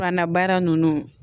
Fura na baara ninnu